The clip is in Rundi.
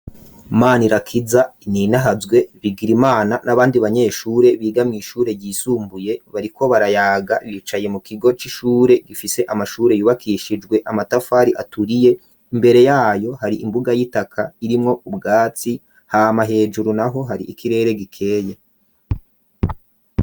Manirakiza ninahazwe Bigirimana n'abandi banyeshure bigamye ishure yisumbuye bariko barayaga bicaye mu kigo c'ishure gifise amashure yubakishijwe amatafari aturiye imbere yayo hari imbuga y'itaka irimwo ubwatsi hama hejuru naho hari ikirere gikeye.